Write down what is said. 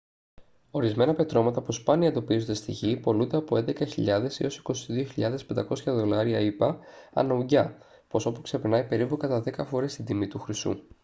ορισμένα πετρώματα που σπάνια εντοπίζονται στη γη πωλούνται από 11.000 έως 22.500 δολάρια ηπα ανά ουγγιά ποσό που ξεπερνάει περίπου κατά δέκα φορές την τιμή του χρυσού